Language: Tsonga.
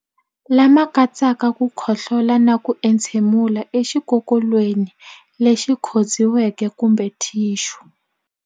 Lama katsaka ku khohlola na ku entshemulela exikokolweni lexi khotsiweke kumbe thixu.